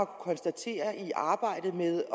konstatere i arbejdet med